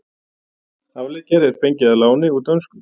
Afleggjari er fengið að láni úr dönsku.